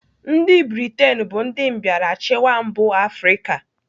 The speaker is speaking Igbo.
Ndị Britain bụ ndị mbịarachịwa mba Afrịka.